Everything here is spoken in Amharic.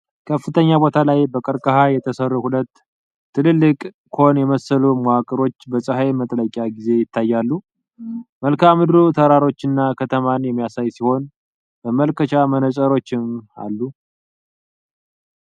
ከፍተኛ ቦታ ላይ በቀርከሃ የተሰሩ ሁለት ትላልቅና ኮን የመሰሉ መዋቅሮች በፀሐይ መጥለቂያ ጊዜ ይታያሉ። መልክዓ ምድሩ ተራሮችና ከተማን የሚያሳይ ሲሆን መመልከቻ መነጽሮችም አሉ።